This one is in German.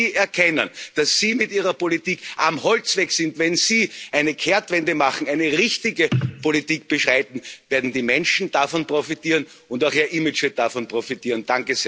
Wenn Sie erkennen, dass Sie mit Ihrer Politik auf dem Holzweg sind, wenn Sie eine Kehrtwende machen, eine richtige Politik beschreiten, werden die Menschen davon profitieren, und auch Ihr Image wird davon profitieren.